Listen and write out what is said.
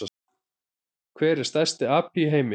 Hver er stærsti api í heimi?